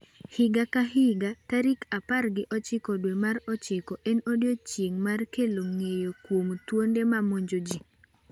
Higa ka higa, tarik apar gi ochiko dwe mar ochiko en odiechieng' mar kelo ng’eyo kuom thonde ma mamonjo ji